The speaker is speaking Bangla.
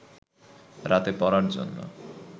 রাতে পড়ার জন্য